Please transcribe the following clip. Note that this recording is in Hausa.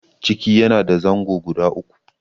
ciki yana da zango guda uku.